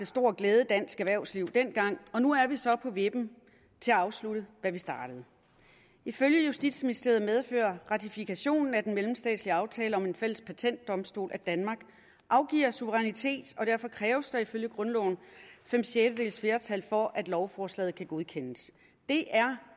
stor glæde i dansk erhvervsliv dengang og nu er vi så på vippen til at afslutte hvad vi startede ifølge justitsministeriet medfører ratifikationen af den mellemstatslige aftale om en fælles patentdomstol at danmark afgiver suverænitet og derfor kræves der ifølge grundloven fem sjettedeles flertal for at lovforslaget kan godkendes det er